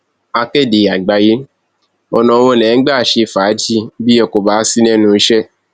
akéde àgbáyé ọnà wo lẹ ń gbà ṣe fàájì bí ẹ kò bá sí lẹnu iṣẹ